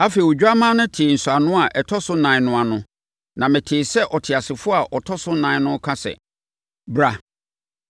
Afei, Odwammaa no tee nsɔano a ɛtɔ so nan no ano na metee sɛ ɔteasefoɔ a ɔtɔ so nan no reka sɛ, “Bra!”